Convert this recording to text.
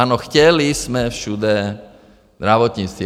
Ano, chtěli jsme všude zdravotnictví.